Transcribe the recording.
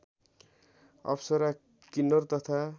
अप्सरा किन्नर तथा